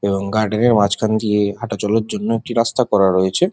এবং গার্ডেনের মাঝখান দিয়ে হাঁটাচলার জন্য একটি রাস্তা করা রয়েছে।